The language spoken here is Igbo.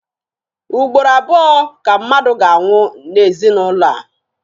Ugboro abụọ ka mmadụ ga-anwụ n'ezinụlọ a.